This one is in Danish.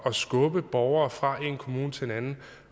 skubbe borgere fra en kommune til en anden